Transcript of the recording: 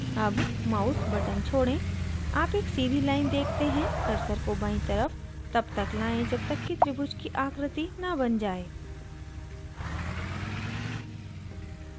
अब mouse button छोड़ें आप एक सीधी line देखते हैं कर्सर को बायीं तरफ तब तक लाएं जब तक त्रिभुज की आकृति न button जाये